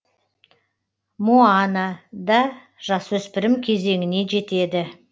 моана да жасөспірім кезеңіне жетеді